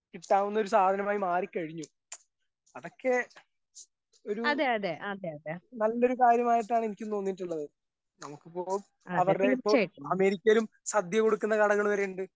കിട്ടാവുന്നൊരു സാധനമായി മാറി കഴിഞ്ഞു അതൊക്കെ ഒരു നല്ലൊരു കാര്യമായിട്ടാണെനിക്കും തോന്നീട്ടുള്ളത് നമുക്കിപ്പൊ അവർടെ ഇപ്പൊ അമേരിക്കയിലും സദ്യ കൊടുക്കുന്ന കടകളുണ്ട്.